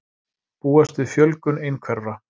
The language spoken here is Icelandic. Búast við fjölgun einhverfra